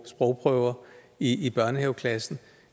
sprogprøver i børnehaveklassen